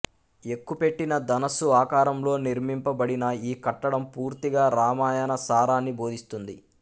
ఎక్కుపెట్టిన ధనుస్సు ఆకారంలో నిర్మింప బడిన ఈ కట్టడం పూర్తిగా రామాయణ సారాన్ని బోధిస్తుంది